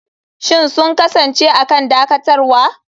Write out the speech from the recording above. Shin sun kasance a kan dakatarwa?